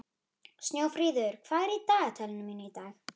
Bergsteinn, hvað er opið lengi í Sambíóunum?